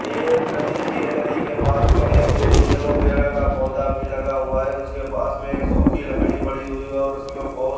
यह एक नदी सी है नदी के पास में एक एलोवेरा का पौधा भी लगा हुआ है उसके पास में एक सुखी लकड़ी पड़ी हुई है और उसमें बहुत --